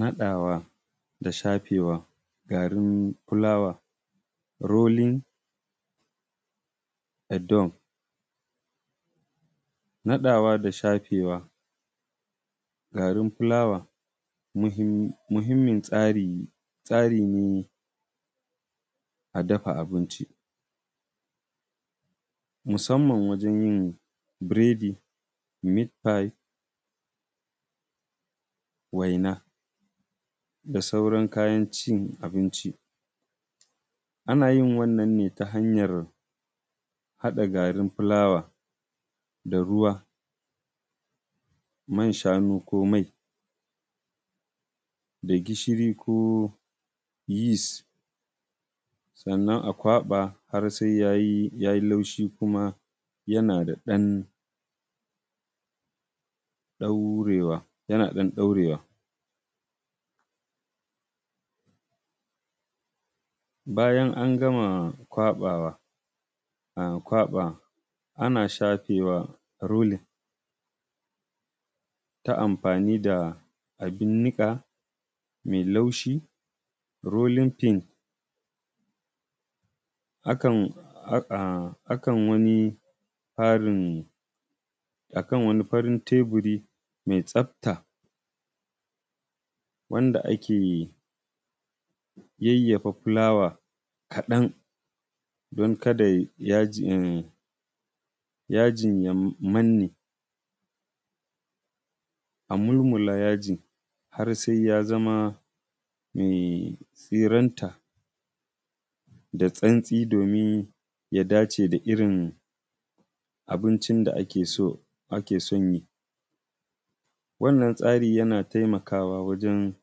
naɗawa da shafewa garin fulawa, rolling dough. naɗawa da shafewa garin fulawa muhimmin tsari ne a dafa abinci, musamman wajen yin biredi, meat pie, waina da sauran kayan cin abinci. Ana yin wannan ne ta hanyar haɗa garin fulawa da ruwa, man shanu ko mai, da gishiri ko yeast sannan a kwaɓa har sai yayi laushi kuma da ɗan ɗaurewa. Bayan an gama kwaɓawa, ana shafewa rolling ta amfani da abin niƙa mai laushi, rolling pin, akan wani ƙarin a kan wani farin teburi mai tsafta wanda ake yayyafa fulawa kaɗan don kada yajin ya manne, a mulmula yajin har sai ya zama siranta da santsi domin ya dace da irin abincin da ake son yi. Wannan tsari yana taimakawa wajen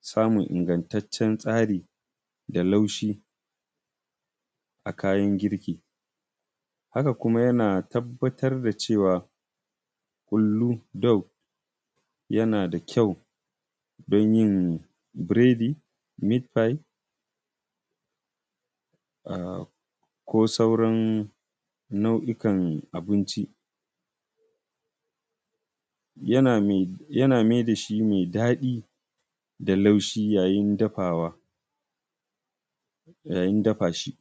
samun ingantaccen tsari da laushi a kayan girki. Haka kuma yana tabbatar da cewa ƙullu dough yana da kyau don yin biredi, meat pie, ko sauran nau’ikan abuinci. Yana maida shi mai daɗi da laushi yayin dafawa, yayin dafa shi.